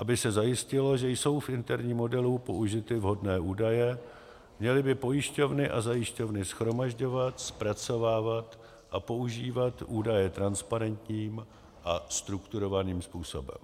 Aby se zajistilo, že jsou v interním modelu použity vhodné údaje, měly by pojišťovny a zajišťovny shromažďovat, zpracovávat a používat údaje transparentním a strukturovaným způsobem.